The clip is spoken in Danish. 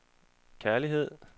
kærlighed